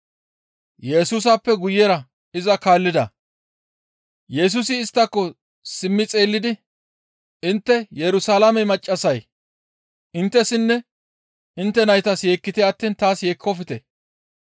Yesusappe guyera iza kaallida. Yesusi isttako simmi xeellidi, «Intte Yerusalaame maccassay inttessinne intte naytas yeekkite attiin taas yeekkofte.